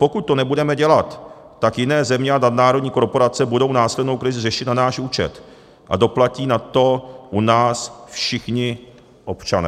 Pokud to nebudeme dělat, tak jiné země a nadnárodní korporace budou následnou krizi řešit na náš účet a doplatí na to u nás všichni občané.